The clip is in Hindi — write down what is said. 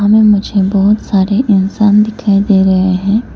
यहां में मुझे बहुत सारे इंसान दिखाई दे रहे हैं।